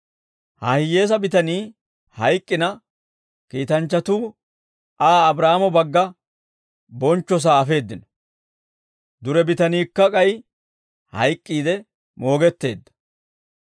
«Ha hiyyeesaa bitanii hayk'k'ina, kiitanchchatuu Aa Abraahaamo bagga bonchchosaa afeeddino; dure bitaniikka k'ay hayk'k'iide moogetteedda.